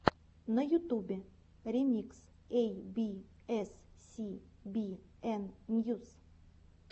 на ютубе ремикс эй би эс си би эн ньюс